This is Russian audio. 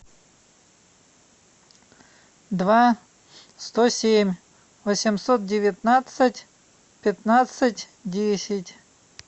два сто семь восемьсот девятнадцать пятнадцать десять